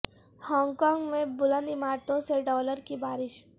Hong Kong میں بلند عمارتوں سے ڈالر کی بارش